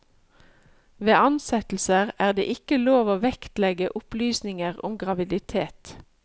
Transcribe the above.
Ved ansettelser er det ikke lov til å vektlegge opplysninger om graviditet.